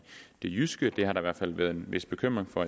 det jyske det har der i hvert fald været en vis bekymring for